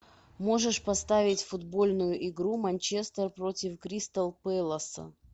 можешь поставить футбольную игру манчестер против кристал пэласа